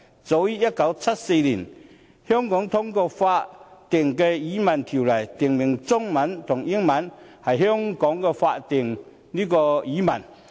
早於1974年，香港通過了《法定語文條例》，訂明中文和英文是香港的法定語文。